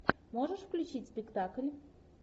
можешь включить спектакль